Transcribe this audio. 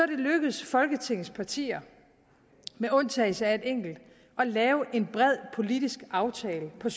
det lykkedes folketingets partier med undtagelse af et enkelt at lave en bred politisk aftale på